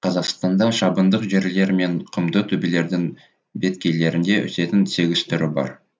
қазақстанда шабындық жерлер мен құмды төбелердің беткейлерінде өсетін сегіз түрі бар